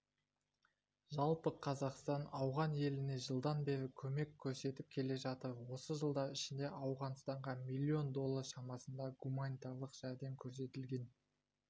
жалпы қазақстан ауған еліне жылдан бері көмек көрсетіп келе жатыр осы жылдар ішінде ауғанстанға миллион доллар шамасында гуманитарлық жәрдем көрсетілген